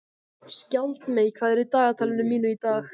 Skjaldmey, hvað er í dagatalinu mínu í dag?